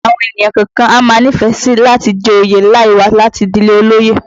Àwọn ènìyàn kọ̀ọ̀kan a máa nífẹ̀ẹ́ sí i láti jẹ oyè láì wá láti ìdílé olóyè